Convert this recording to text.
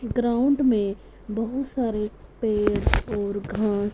ground में बहुत सारे पेड़ और घास--